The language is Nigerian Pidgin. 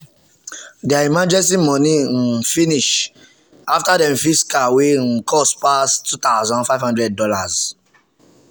their emergency money um finish after dem fix car wey um cost pass $2500. um